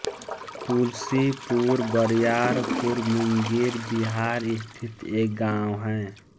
तुलसीपुर बरियारपुर मुंगेर बिहार स्थित एक गाँव है